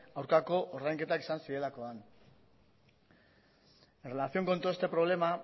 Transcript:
aurkako ordainketak izan zirelakoan en relación con todo este problema